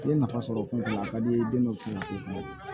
I ye nafa sɔrɔ fɛn dɔ la a ka di i ye i den dɔ fana ye